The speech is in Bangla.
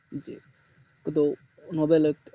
যে হেতু নোবেল এর